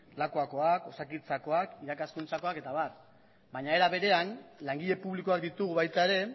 lakuakoak osakidetzakoak irakaskuntzakoak eta abar baina era berean langile publikoak ditugu baita ere